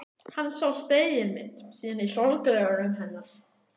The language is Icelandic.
Hann sá spegilmynd sína í sólgleraugunum hennar.